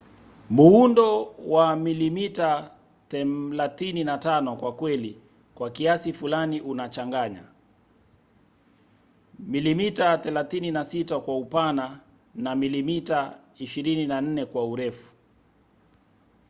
muundo wa 35mm kwa kweli kwa kiasi fulani unachanganya 36mm kwa upana na 24mm kwa urefu